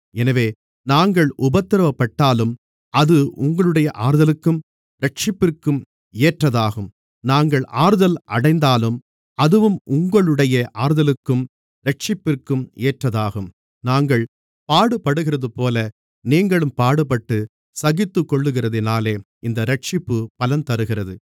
எனவே நாங்கள் உபத்திரவப்பட்டாலும் அது உங்களுடைய ஆறுதலுக்கும் இரட்சிப்பிற்கும் ஏற்றதாகும் நாங்கள் ஆறுதல் அடைந்தாலும் அதுவும் உங்களுடைய ஆறுதலுக்கும் இரட்சிப்பிற்கும் ஏற்றதாகும் நாங்கள் பாடுபடுகிறதுபோல நீங்களும் பாடுபட்டுச் சகித்துக்கொள்கிறதினாலே அந்த இரட்சிப்பு பலன் தருகிறது